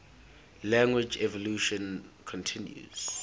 language evolution continues